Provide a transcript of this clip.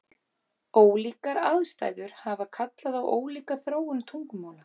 Ólíkar aðstæður hafa kallað á ólíka þróun tungumála.